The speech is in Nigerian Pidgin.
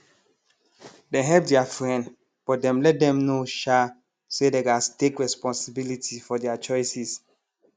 dem help their friend but dem let them know um say dey gas take responsibility for their choices